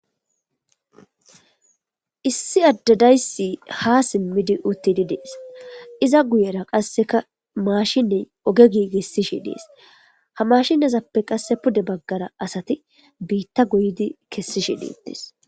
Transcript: issi adde dayssi ha simmidi uttidi dees iza guyera qasseka maashiney oge giigissishi dees ha mashinezappe qasse pude baggara asati biitta goyidi kessishi deetes